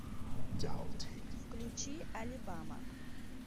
включи алибама